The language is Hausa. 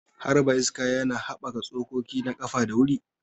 Harba iska yana haɓaka tsokoki na ƙafa da wuri.